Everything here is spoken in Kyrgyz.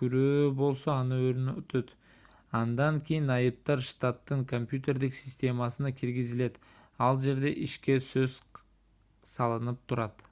күрөө болсо аны орнотот андан кийин айыптар штаттын компьютердик системасына киргизилет ал жерде ишке көз салынып турат